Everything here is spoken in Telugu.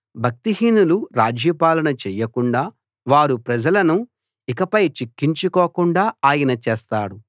భక్తిహీనులు రాజ్యపాలన చేయకుండా వారు ప్రజలను ఇకపై చిక్కించుకోకుండా ఆయన చేస్తాడు